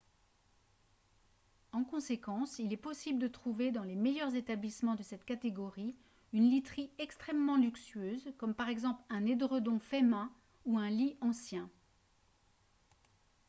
en conséquence il est possible de trouver dans les meilleurs établissements de cette catégorie une literie extrêmement luxueuse comme par exemple un édredon fait main ou un lit ancien